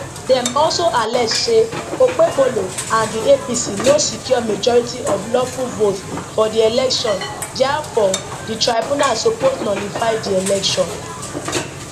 dem also allege say okpebholo and di apc no secure majority of lawful votes for di election diafore di tribunal suppose nullify di election